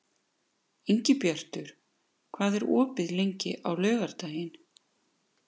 Ingibjartur, hvað er opið lengi á laugardaginn?